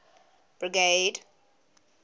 brigade